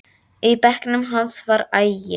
Í bekknum hans var agi.